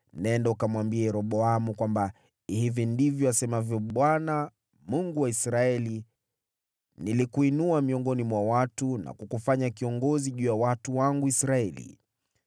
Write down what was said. Nenda, ukamwambie Yeroboamu kwamba hivi ndivyo asemavyo Bwana , Mungu wa Israeli: ‘Nilikuinua miongoni mwa watu na kukufanya kiongozi juu ya watu wangu Israeli.